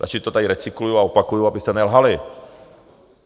Radši to tady recykluji a opakuji, abyste nelhali.